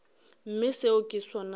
mme seo ke sona se